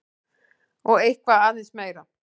Og eitthvað aðeins meira!